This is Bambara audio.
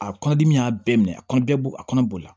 A kɔnɔdimi y'a bɛɛ minɛ a kɔnɔ bɛ a kɔnɔ boli